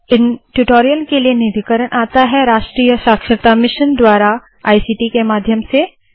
इन tutorial के लिए निधिकरण आता है राष्ट्रीय साक्षरता मिशन द्वारा इक्ट के माध्यम से